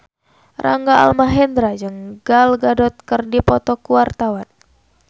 Rangga Almahendra jeung Gal Gadot keur dipoto ku wartawan